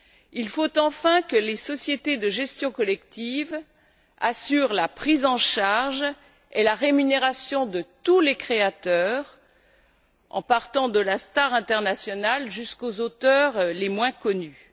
Il faut enfin que les sociétés de gestion collective assurent la prise en charge et la rémunération de tous les créateurs, de la star internationale aux auteurs les moins connus.